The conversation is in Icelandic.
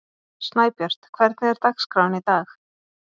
Snæbjört, hvernig er dagskráin í dag?